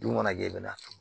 Dun mana kɛ i bɛna turu